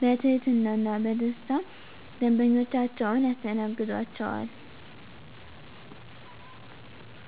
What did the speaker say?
በትህትና እና በደስታና ደንበኞቻቸውን ያስተናግዷቸዋል! ዠ።